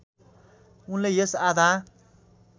उनले यस आधा